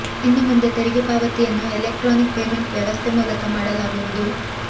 ಇನ್ನು ಮುಂದೆ ತೆರಿಗೆ ಪಾವತಿಯನ್ನು ಎಲೆಕ್ಟ್ರಾನಿಕ್ ಪೇಮೆಂಟ್ ವ್ಯವಸ್ಥೆ ಮೂಲಕ ಮಾಡಲಾಗುವುದು